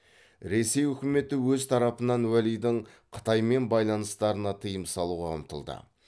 ресей өкіметі өз тарапынан уәлидің қытаймен байланыстарына тыйым салуға ұмтылды